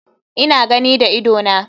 Ina gani da idona.